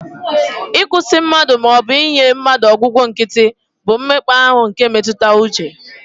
Ịkwụsị mmadụ, ma ọ bụ inye mmadụ ọgwụgwọ nkịtị, bụ ụdị mmekpa ahụ nke mmetụta uche